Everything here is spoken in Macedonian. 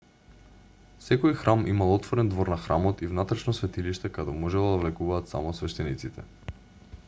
секој храм имал отворен двор на храмот и внатрешно светилиште каде можело да влегуваат само свештениците